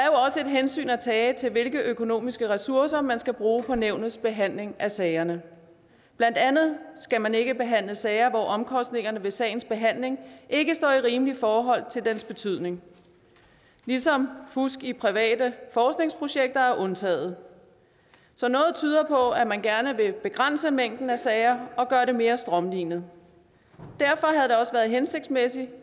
hensyn at tage til hvilke økonomiske ressourcer man skal bruge på nævnets behandling af sagerne blandt andet skal man ikke behandle sager hvor omkostningerne ved sagens behandling ikke står i rimeligt forhold til dens betydning ligesom fusk i private forskningsprojekter er undtaget så noget tyder på at man gerne vil begrænse mængden af sager og gøre det mere strømlinet derfor havde det også været hensigtsmæssigt